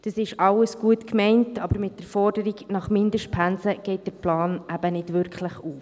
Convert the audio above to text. Das ist alles gut gemeint, aber mit der Forderung nach Mindestpensen geht der Plan eben nicht wirklich auf.